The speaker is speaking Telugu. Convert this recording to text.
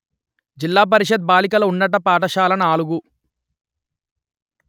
జిల్లా పరిషత్ బాలికల ఉన్నత పాఠశాల నాలుగు